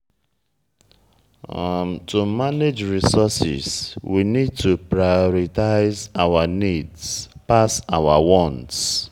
to manage resources we need to prioritize our needs pass our want